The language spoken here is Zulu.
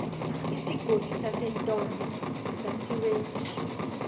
isigodi sasentombe sasiwedlula